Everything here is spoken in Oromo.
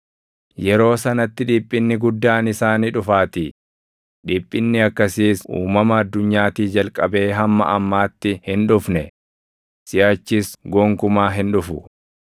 Yeroo sanatti dhiphinni guddaan isaa ni dhufaatii; dhiphinni akkasiis uumama addunyaatii jalqabee hamma ammaatti hin dhufne; siʼachis gonkumaa hin dhufu.